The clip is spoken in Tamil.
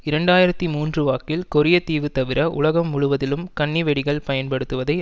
இரண்டு ஆயிரத்தி மூன்றுவாக்கில் கொரியத்தீவு தவிர உலகம் முழுவதிலும் கண்ணி வெடிகள் பயன்படுத்துவதை